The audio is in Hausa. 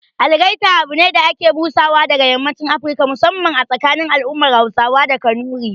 Algaita abune da ake busawa daga yammacin Afirka, musamman a tsakanin al'ummar Hausawa da Kanuri